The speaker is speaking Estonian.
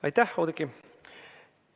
Aitäh, Oudekki!